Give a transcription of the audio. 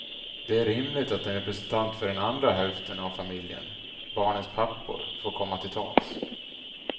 Det är rimligt att en representant för den andra häften av familjen, barnens pappor, får komma till tals.